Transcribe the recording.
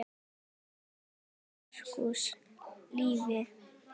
Ljósið þitt, Markús Leví.